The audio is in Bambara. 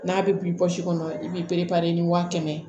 N'a bɛ bin bɔsi kɔnɔ i b'i ni wa kɛmɛ